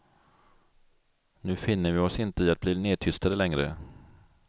Nu finner vi oss inte i att bli nedtystade längre.